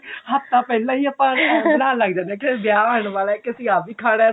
ਹਫਤਾ ਪਹਿਲਾਂ ਹੀ ਆਪਾਂ plan ਬਣਾਂਨ ਲੱਗ ਜਾਂਦੇ ਹਾਂ ਕੇ ਵਿਆਹ ਆਉਣ ਵਾਲਾ ਅਸੀਂ ਆਹ ਵੀ ਖਾਣਾ